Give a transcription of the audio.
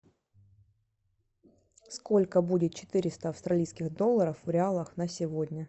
сколько будет четыреста австралийских долларов в реалах на сегодня